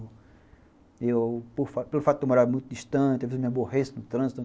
Pelo fato de eu morar muito distante, às vezes, eu me aborreço no trânsito.